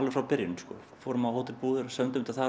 frá byrjun fórum á hótel Búðir